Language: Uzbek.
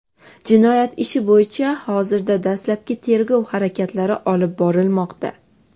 Jinoyat ishi bo‘yicha hozirda dastlabki tergov harakatlari olib borilmoqda.